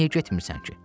Niyə getmirsən ki?